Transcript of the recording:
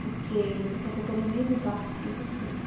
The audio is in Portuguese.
Porque vocês sabem que eu estou no mesmo barco que vocês.